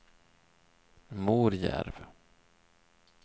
Morjärv